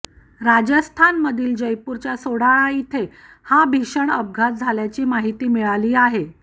राजस्थानमधील जयपूरच्या सोडाळा इथे हा भीषण अपघात झाल्याची माहिती मिळाली आहे